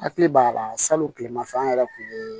Hakili b'a la salon tileman fɛ an yɛrɛ kun ye